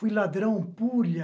Fui ladrão, pulha.